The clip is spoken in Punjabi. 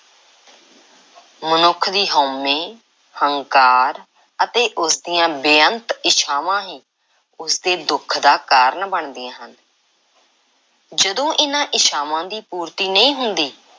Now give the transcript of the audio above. ਮਨੁੱਖ ਦੀ ਹਉਮੈ, ਹੰਕਾਰ ਅਤੇ ਉਸ ਦੀਆਂ ਬੇਅੰਤ ਇੱਛਾਵਾਂ ਹੀ ਉਸ ਦੇ ਦੁੱਖ ਦਾ ਕਾਰਨ ਬਣਦੀਆਂ ਹਨ। ਜਦੋਂ ਇਹਨਾਂ ਇੱਛਾਵਾਂ ਦੀ ਪੂਰਤੀ ਨਹੀਂ ਹੁੰਦੀ,